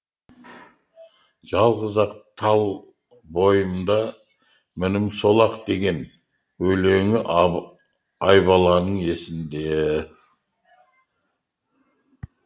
жалғыз ақ тал бойымда мінім сол ақ деген өлеңі айбаланың есінде